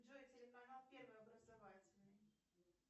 джой телеканал первый образовательный